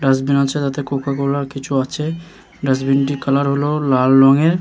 Dustbin আছে তাতে কোকাকোলার কিছু আছে। ডাস্টবিনটির কালার হলো লাল রঙের।